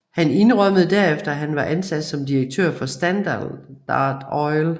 Han indrømmede herefter at han var ansat som direktør for Standard Oil